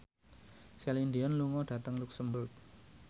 Celine Dion lunga dhateng luxemburg